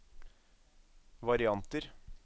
varianter